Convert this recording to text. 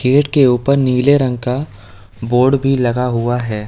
Gate के ऊपर नीले रंग का बोर्ड भी लगा हुआ है।